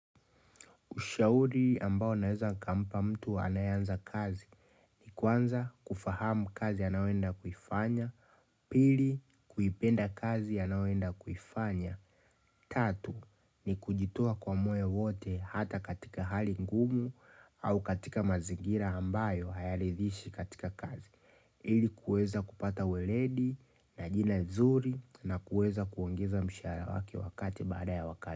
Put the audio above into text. Ushauri ambao naweza nikampa mtu anayeanza kazi. Kwanza kufahamu kazi anayoenda kuifanya. Pili, kuipenda kazi anayoenda kuifanya. Tatu, ni kujitoa kwamoyo wote hata katika hali ngumu au katika mazingira ambayo hayaridhishi katika kazi. Ili kuweza kupata weledi na jina nzuri na kuweza kuongeza mshahara wake wakati baada ya wakati.